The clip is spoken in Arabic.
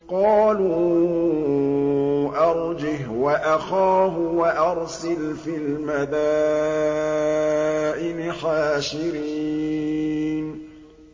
قَالُوا أَرْجِهْ وَأَخَاهُ وَأَرْسِلْ فِي الْمَدَائِنِ حَاشِرِينَ